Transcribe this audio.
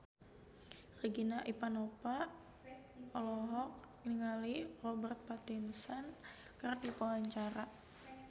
Regina Ivanova olohok ningali Robert Pattinson keur diwawancara